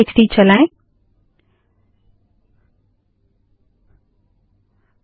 cat space files dot TXT cat space files dot TXT चलाएँ